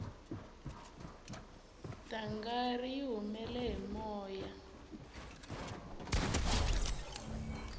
dangari yi humele hi moya